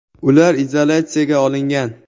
Ular izolyatsiyaga olingan.